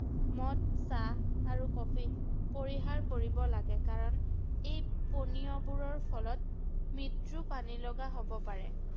মদ, চাহ আৰু কফি পৰিহাৰ কৰিব লাগে ৷ কাৰণ এই পনীয়বোৰৰ ফলত মৃত্যু পানী লগা হ’ব পাৰে ৷